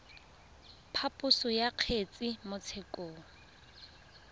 phaposo ya kgetse mo tshekong